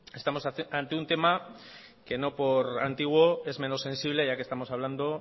estamos ante un tema que no por antiguo es menos sensible ya que estamos hablando